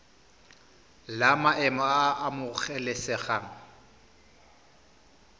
la maemo a a amogelesegang